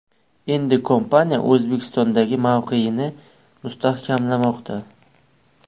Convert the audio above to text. Endi kompaniya O‘zbekistondagi mavqeyini mustahkamlamoqda.